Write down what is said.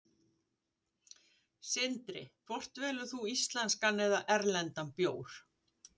Sindri: Hvort velur þú íslenskan eða erlendan bjór?